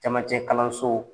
Camancɛ kalanso